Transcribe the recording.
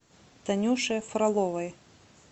танюше фроловой